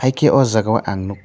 haike aw jaga o ang nukkha.